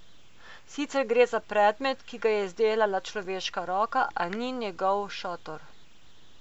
Sicer gre za predmet, ki ga je izdelala človeška roka, a ni njegov šotor.